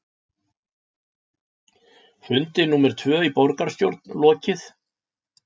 Fundi númer tvö í borgarstjórn lokið